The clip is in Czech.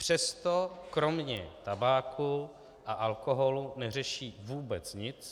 Přesto kromě tabáku a alkoholu neřeší vůbec nic.